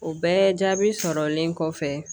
O bɛɛ jaabi sɔrɔlen kɔfɛ